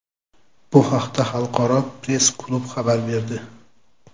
Bu haqda Xalqaro press-klub xabar berdi.